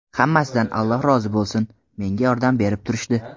Hammasidan Alloh rozi bo‘lsin, menga yordam berib turishdi.